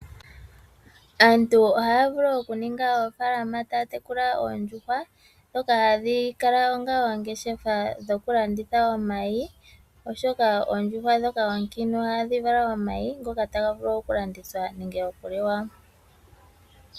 Aantu ohaya vulu okuninga oofalama taya tekula oondjuhwa ndhoka hadhi kala onga oongeshefa dhokulanditha omayi oshoka oondjuhwa ndhoka onkiintu ohadhi vala omayi ngoka taga vulu okulandithwa nenge okuliwa.